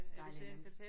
Dejlig nemt